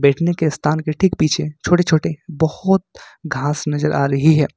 स्थान के ठीक पीछे छोटे छोटे बहोत घास नजर आ रही है।